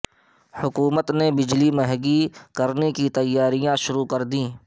حکومت نے بجلی مہنگی کرنے کی تیاریاں شروع کر دیں